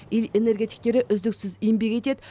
ел энергетиктері үздіксіз еңбек етеді